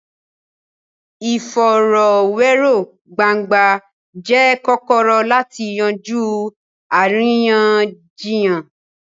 Ìfọ̀rọ̀wérọ̀ gbangba jẹ́ kọ́kọ́rọ́ láti yanjú àríyànjiyàn.